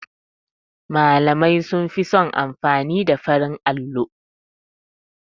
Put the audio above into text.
Malamai sunfi son amfani da farin allo.